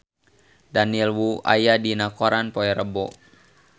Daniel Wu aya dina koran poe Rebo